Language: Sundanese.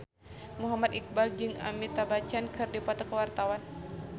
Muhammad Iqbal jeung Amitabh Bachchan keur dipoto ku wartawan